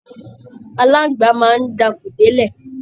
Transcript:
Aláǹgbá máa ń dakùn délẹ̀